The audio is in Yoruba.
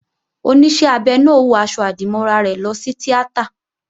Oníṣẹ́ abẹ náà ó wọ aṣọ-àdìmọ́ra rẹ̀ lọ sí tíátà